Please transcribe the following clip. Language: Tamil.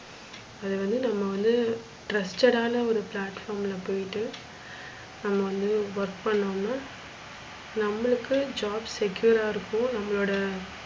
அத வந்து நம்ம வந்து trusted ஆன ஒரு platform ல போயிட்டு நம்ம வந்து work பன்னோன்னா, நம்மளுக்கு jobs secure ஆ இருக்கும். நம்மளோட,